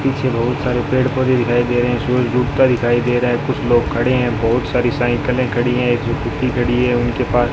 पीछे बहुत सारे पेड़ पौधे दिखाई दे रहे हैं सूरज डूबता दिखाई दे रहा है कुछ लोग खड़े हैं बहुत सारी साइकिलें खड़ी हैं एक स्कूटी खड़ी है उनके पास --